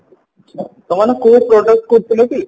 ସେମାନେ କୋଉ product କରୁଥିଲେ କି